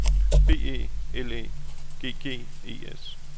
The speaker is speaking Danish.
B E L Æ G G E S